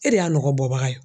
E de y'a nɔgɔ bɔbaga ye.